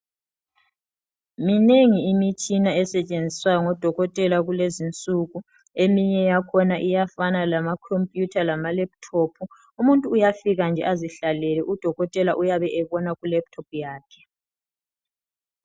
Minengi imitshina esetshenziswa ngodokotela kulezinsuku eminye yakhona iyafana lamakhompuyutha lama lephuthophu umuntu uyafika nje azihlalele udokotela uyabe ebona kulephuthophu yakhe.